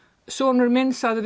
sonur minn sagði